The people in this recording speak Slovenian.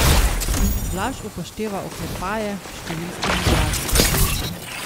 Blaž upošteva oklepaje v številskem izrazu.